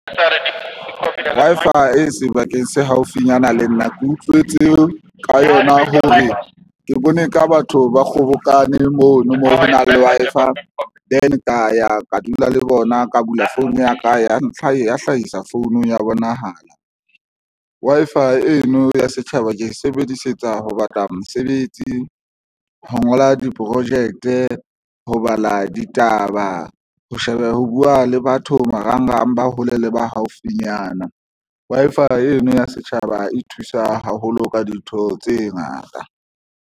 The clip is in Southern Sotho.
Wi-Fi e sebakeng se haufinyana le nna ke utlwetse ka yona hore ke bone ka batho ba kgobokane mono mo ho nang le Wi-Fi then ka ya ka dula le bona ka bula phone ya ka ya ntlha ya hlahisa phone ya bonahala Wi-Fi eno ya setjhaba ke e sebedisetsa ho batla mosebetsi ho ngola di-project-e ho bala ditaba ho sheba, ho buwa le batho marangrang ba hole le ba haufinyana Wi-Fi eno ya setjhaba e thusa haholo ka dintho tse ngata.